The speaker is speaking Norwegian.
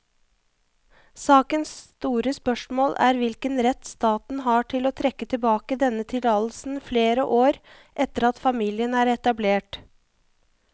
Sakens store spørsmål er hvilken rett staten har til å trekke tilbake denne tillatelsen flere år etter at familien er etablert.